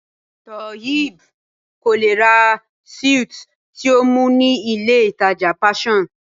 Toheeb kò lè ra suit tí ó mú ní ilé ìtàjà Passion.